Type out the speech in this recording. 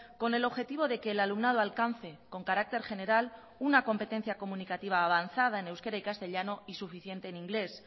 con el objetivo de que el alumnado alcance con carácter general una competencia comunicativa avanzada en euskera y castellano y suficiente en inglés